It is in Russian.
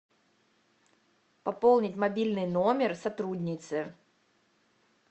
пополнить мобильный номер сотрудницы